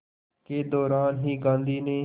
के दौरान ही गांधी ने